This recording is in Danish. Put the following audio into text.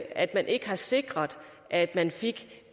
at man ikke har sikret at man fik